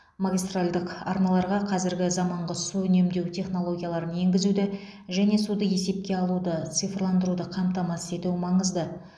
магистральдық арналарға қазіргі заманғы су үнемдеу технологияларын енгізуді және суды есепке алуды цифрландыруды қамтамасыз ету маңызды